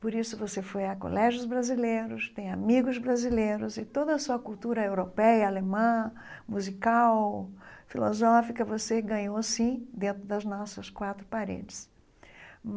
Por isso você foi a colégios brasileiros, tem amigos brasileiros, e toda a sua cultura europeia, alemã, musical, filosófica, você ganhou, sim, dentro das nossas quatro paredes.